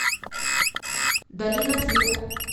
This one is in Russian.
долина света